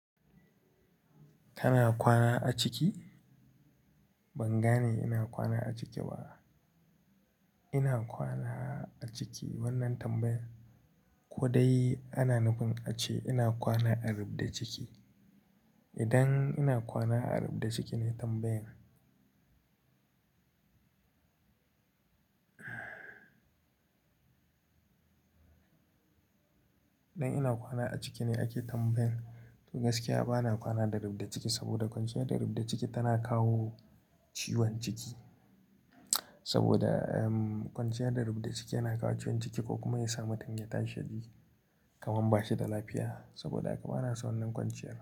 Kana kwana a ciki? Ban gane ina kwana a ciki ba. Ina kwana a ciki wannan tambayar, ko dai ana nufin ace ina kwana a ribda ciki? Idan ina kwana a ribda ciki ne tambayan. Idan ina kwana a ciki ne ake tambayan, to gaskiya bana kwana da ribda ciki saboda kwanciyar da ribda ciki tana kawo ciwon ciki. Saboda, um, kwanciyar da ribda ciki yana kawo ciwon ciki ko kuma ya samu danginta shadi kaman bashi da lafiya. Saboda haka bana son wannan kwanciyar.